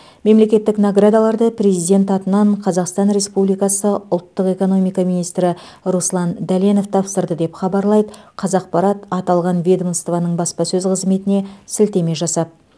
мемлекеттік наградаларды президент атынан қазақстан республикасы ұлттық экономика министрі руслан дәленов тапсырды деп хабарлайды қазақпарат аталған ведомствоның баспасөз қызметіне сілтеме жасап